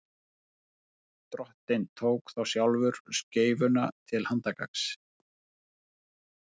drottinn tók þá sjálfur skeifuna til handargagns